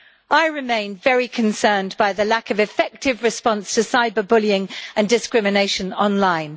I remain very concerned by the lack of effective response to cyber bullying and discrimination online.